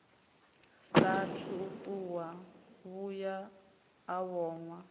saathu u vhuya a vhonwa